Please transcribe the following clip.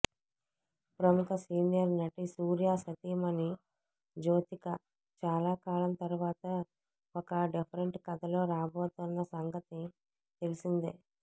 ప్రముఖ సీనియర్ నటి సూర్యా సతీమణి జ్యోతిక చాలా కాలం తరువాత ఒక డిఫెరెంట్ కథతో రాబోతోన్న సంగతి తెలిసిందే